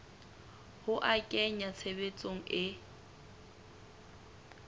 ho a kenya tshebetsong e